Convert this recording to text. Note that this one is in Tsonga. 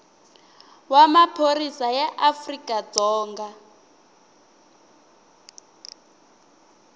wa maphorisa ya afrika dzonga